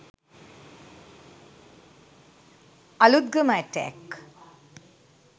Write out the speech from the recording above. Aluthgama attack